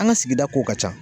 An ka sigida ko ka ca.